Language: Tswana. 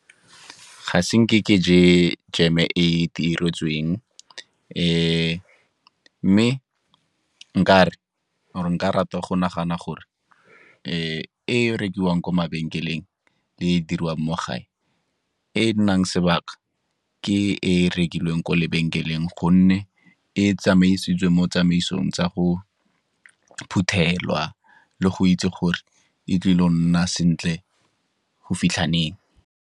Ga se nke ke je jam-e e e itiretsweng, mme nkare or-e nka rata go nagana gore e rekiwang ko mabenkeleng le e diriwang mo gae, e nnang sebaka ke e rekilweng ko lebenkeleng gonne e tsamaisitswe mo tsamaisong tsa go phuthelwa le go itse gore e tlile go nna sentle go fitlha leng.